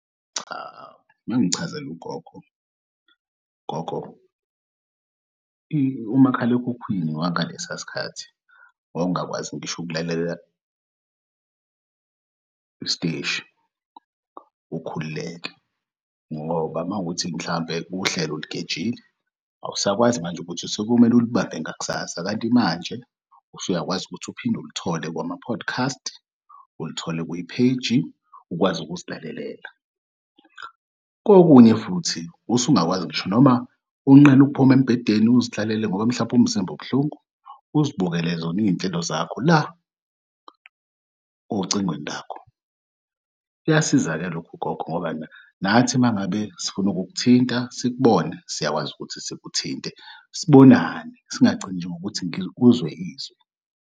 Cha, ngangichazela ugogo. Gogo, umakhalekhukhwini wangalesiya sikhathi mawungakwazi ngisho ukulalela isiteshi ukhululeke, ngoba mawukuthi mhlawumbe uhlelo ulugejile, awusakwazi manje ukuthi sekomele ulubambe ngakusasa kanti manje usuyakwazi ukuthi uphinde ulithole kwama-podcast, ulithole kwipheji ukwazi ukuzilalelela. Kokunye futhi usungakwazi ngisho noma unqena ukuphuma embedeni uzihlalele ngoba mhlampe umzimba ubuhlungu uzibukele zona iy'nhlelo zakho la ocingweni lakho. Kuyasiza-ke lokhu gogo ngoba nathi mangabe sifuna ukuk'thinta sikubone siyakwazi ukuthi sikuthinte sibonane singagcini nje ngokuthi uzwe izwi.